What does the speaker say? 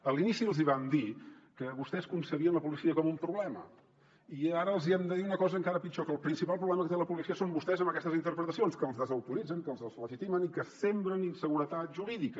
a l’inici els hi vam dir que vostès concebien la policia com un problema i ara els hi hem de dir una cosa encara pitjor que el principal pro·blema que té la policia són vostès amb aquestes interpretacions que els desautorit·zen que els deslegitimen i que sembren inseguretat jurídica